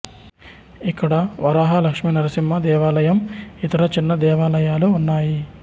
ఇక్కడ వరాహ లక్ష్మి నరసింహ దేవాలయం ఇతర చిన్న దేవాలయాలు ఉన్నాయి